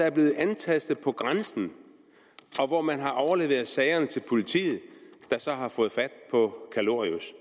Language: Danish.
er blevet antastet på grænsen og hvor man har overleveret sagerne til politiet der så har fået fat på kalorius